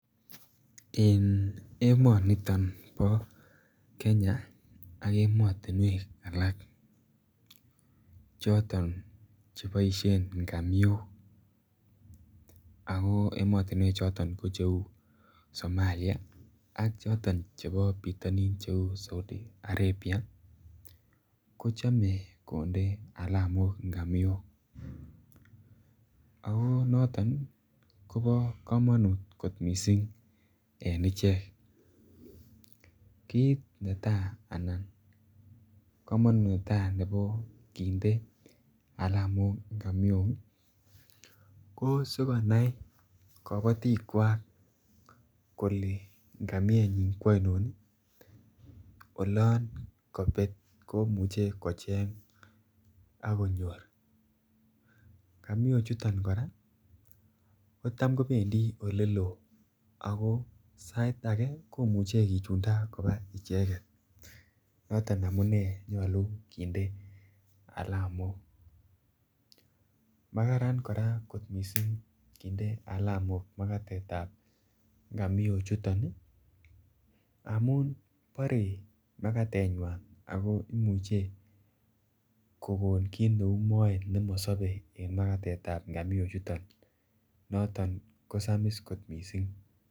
En emoni bo Kenya ak emotinwek alak choton Che boisien ngamiok ago emotinwek choton ko Cheu Somalia ak choton chebo bitonin cheu Saudi Arabia kochome ngamiok ago noton kobo kamanut kot mising ko kit netai ko kinde kamanut alamok ngamiok ko asi konai kabatik kole ngamienyin ko ainon olon kobet komuche kocheng ak konyor ngamiochuto ko Tam kobendi oleloo sait age ko imuche kichunda koba ichegen noton amune si kindo alamok makararan kot mising kinde alamok ngamiochuto makararan kot mising kinde alamok batet ab ngamiochuto amun barei makatenywan ago imuche kokon kit neu moet ne mosobe en Makatet ab ngamiochuto noton kosamis kot mising